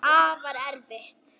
Afar erfitt.